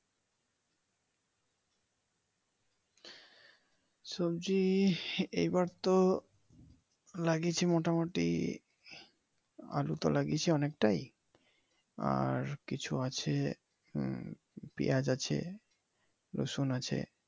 সবজি এইবার তো লাগিয়েছি মোটামোটি আলুতো লাগিয়েছি অনেকটাই আর কিছু আছে হুম পিয়াজ আছে রসুন আছে।